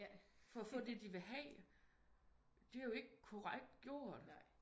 For at få det de gerne vil have det er jo ikke korrekt gjort